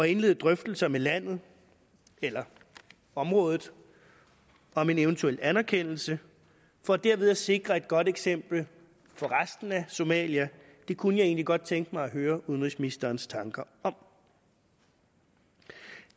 indlede drøftelser med landet eller området om en eventuel anerkendelse for derved at sikre et godt eksempel for resten af somalia det kunne jeg egentlig godt tænke mig at høre udenrigsministerens tanker om